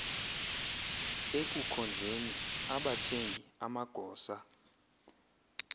ekukhonzeni abathengi amagosa